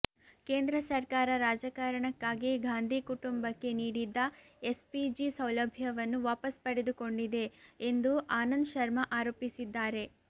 ಕೇಂದ್ರ ಸರ್ಕಾರ ರಾಜಕಾರಣಕ್ಕಾಗಿ ಗಾಂಧಿ ಕುಟುಂಬಕ್ಕೆ ನೀಡಿದ್ದ ಎಸ್ ಪಿಜಿ ಸೌಲಭ್ಯವನ್ನು ವಾಪಸ್ ಪಡೆದುಕೊಂಡಿದೆ ಎಂದು ಆನಂದ್ ಶರ್ಮಾ ಆರೋಪಿಸಿದ್ದಾರೆ